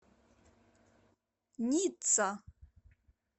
ницца